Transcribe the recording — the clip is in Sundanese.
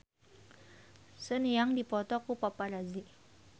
Sun Yang dipoto ku paparazi